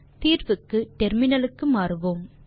தீர்வுக்கு டெர்மினலுக்கு மாறுவோம்